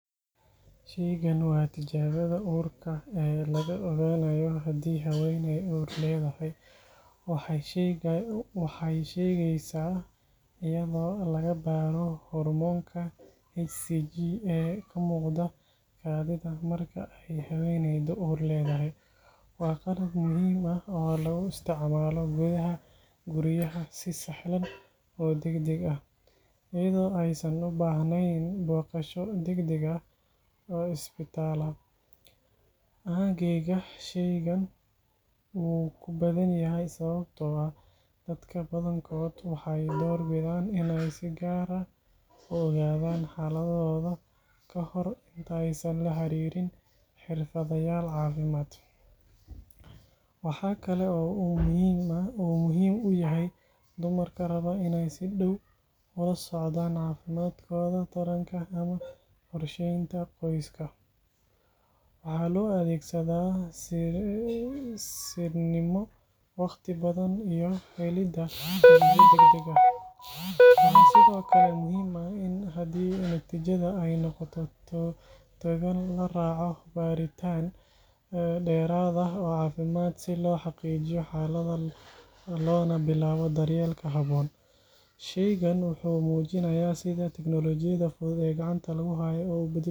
Shaygan waa tijaabada uurka ee lagu ogaanayo haddii haweeney uur leedahay. Waxay shaqeysaa iyadoo laga baaro hormoonka HCG ee ka muuqda kaadida marka ay haweeneydu uur leedahay. Waa qalab muhiim ah oo lagu isticmaalo gudaha guryaha si sahlan oo degdeg ah, iyadoo aysan u baahnayn booqasho degdeg ah oo isbitaal ah. Aaggeyga, shaygan wuu ku badan yahay sababtoo ah dadka badankood waxay doorbidaan in ay si gaar ah u ogaadaan xaaladdooda kahor inta aysan la xiriirin xirfadlayaal caafimaad. Waxa kale oo uu muhiim u yahay dumarka raba inay si dhaw ula socdaan caafimaadkooda taranka ama qorsheynta qoyska. Waxa loo adeegsadaa sirnimo, waqti badbaadin, iyo helidda natiijo degdeg ah. Waxaa sidoo kale muhiim ah in haddii natiijada ay noqoto togan, la raaco baaritaan dheeraad ah oo caafimaad si loo xaqiijiyo xaaladda loona bilaabo daryeelka habboon. Shaygani wuxuu muujinayaa sida tignoolajiyada fudud ee gacanta lagu hayo ay u beddeli karto nolosha qofka.